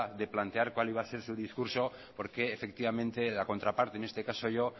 de plantear cuál iba a ser su discurso porque efectivamente la contraparte en este caso yo